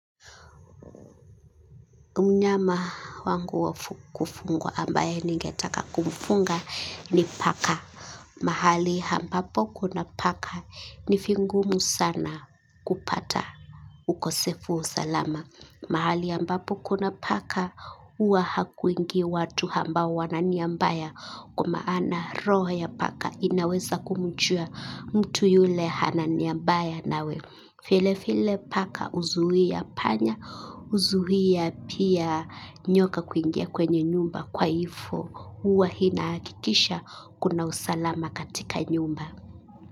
Mnyama wangu wafu kufungwa ambaye ningetaka kumfunga ni paka. Mahali ambapo kuna paka ni vingumu sana kupata ukosefu wa usalama. Mahali hamba po kuna paka uwa hakuingi watu hambao wananiambaya kwama ana roho ya paka inaweza kumuchua mtu yule hananiambaya nawe. File file paka uzuia panya, uzuia pia nyoka kuingia kwenye nyumba kwa ifo uwa hinakikisha kuna usalama katika nyumba.